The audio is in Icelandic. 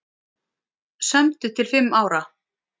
Sömdu til fimm ára